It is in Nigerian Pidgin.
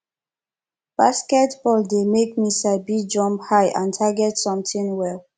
basketball de make me sabi jump high and target something well